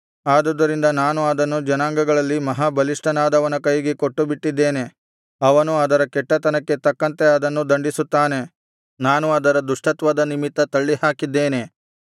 ಆದುದರಿಂದ ನಾನು ಅದನ್ನು ಜನಾಂಗಗಳಲ್ಲಿ ಮಹಾ ಬಲಿಷ್ಠನಾದವನ ಕೈಗೆ ಕೊಟ್ಟುಬಿಟ್ಟಿದ್ದೇನೆ ಅವನು ಅದರ ಕೆಟ್ಟತನಕ್ಕೆ ತಕ್ಕಂತೆ ಅದನ್ನು ದಂಡಿಸುತ್ತಾನೆ ನಾನು ಅದರ ದುಷ್ಟತ್ವದ ನಿಮಿತ್ತ ತಳ್ಳಿಹಾಕಿದ್ದೇನೆ